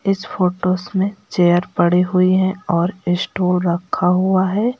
इस फोटोस में चेयर पड़ी हुई हैं और स्टूल रखा हुआ है।